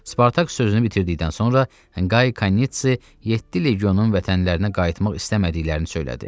Spartak sözünü bitirdikdən sonra Qay Kanitsi yeddi legionun vətənlərinə qayıtmaq istəmədiklərini söylədi.